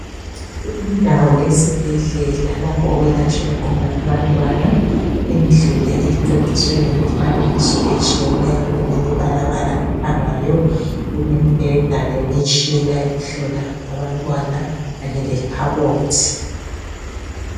Indawo esibhedlela lapho okwelatshelwa khona abantwana indlu le ececiswe ngemifanekiso etshiyeneyo elemibalabala ekhangayo kulemibheda lemitshina yokuhlola abantwana kanye lekhabothi.